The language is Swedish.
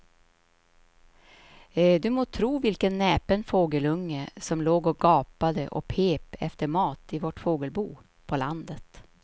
Du må tro vilken näpen fågelunge som låg och gapade och pep efter mat i vårt fågelbo på landet.